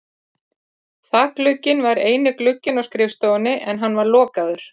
Þakglugginn var eini glugginn á skrifstofunni en hann var lokaður.